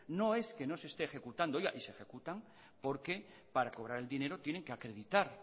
no es que no se esté ejecutando oiga y si ejecutan porque para cobrar el dinero tienen que acreditar